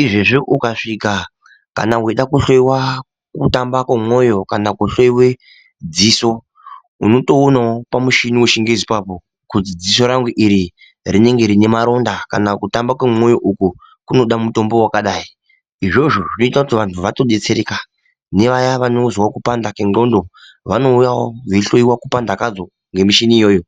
izvezvi ukasvika kana weida kuhloyiwa kutamba kwemwoyo kana kuhloyiwe dziso unotoonawo pamuchini wechingezi ipapo kuti dziso rangu iri rinenge rine maronda kana kutamba kwemwoyo uku kunoda mutombo wakadai, izvozvo zvinoita kuti vantu vatodetsereka nevaya vanozwawo kupanda kwendxondo vanouyawo dzeihloyiwawo kupanda kwadzo ngemichini iyoyo.